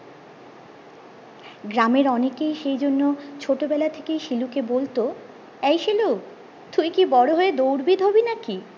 গ্রামের অনেকেই সেইজন্য ছোট বেলা থেকেই শিলুকে বলতো এই শিলু তুই কি বড়ো হয়ে দৌড় বিদ হবিনাকি